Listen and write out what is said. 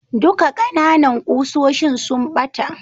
Duka kananan kusoshin sun bata.